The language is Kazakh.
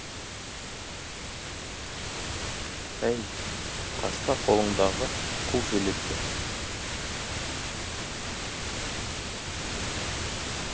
әй таста қолындағы қу шелекті